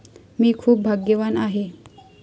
मी खूप भाग्यवान आहे!